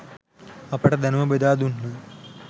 අපට දැනුම බෙදා දුන්හ.